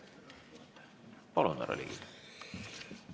Palun, härra Ligi!